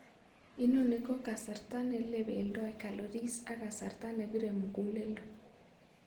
Inoni koo kasarta neleibeldoi calories ak kasrta nebiree muguleledo